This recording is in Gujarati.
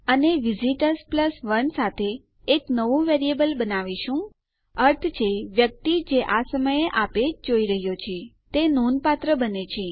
અને આપણે વિઝિટર્સ 1 સાથે એક નવું વેરિયેબલ બનાવી રહ્યા છીએ અર્થ છે વ્યક્તિ જે આ સમયે જે આ પેજ જોઈ રહ્યો છે તે નોંધપાત્ર બને છે